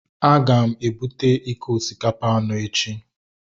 Aga m ebute iko osikapa anọ echi.